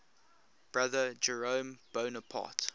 brother jerome bonaparte